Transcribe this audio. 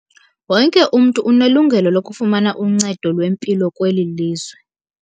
Wonke umntu unelungelo lokufumana uncedo lwempilo kweli lizwe.